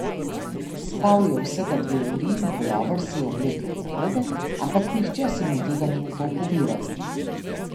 Spal je vsega dve uri in pulover si je oblekel narobe, ampak nihče si mu tega ni upal povedati.